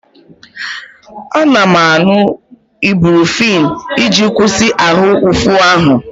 Ana m aṅụ Ibrufen iji kwụsị ahụ ụfụ ahụ.